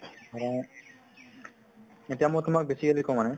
মানে এতিয়া মই তোমাক basically কওঁ মানে